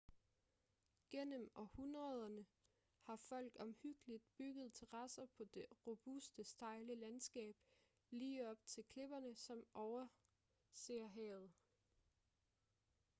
gennem århundrederne har folk omhyggeligt bygget terrasser på det robuste stejle landskab lige op til klipperne som overser havet